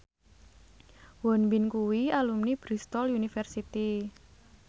Won Bin kuwi alumni Bristol university